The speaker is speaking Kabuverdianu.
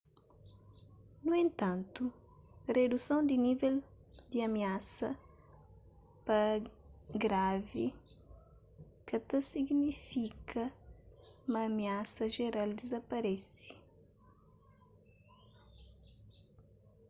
nu entantu riduson di nível di amiasa pa gravi ka ta signifika ma amiasa jeral dizaparese